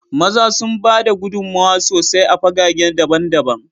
maza sun ba da gudummawa sosai a fagage daban-daban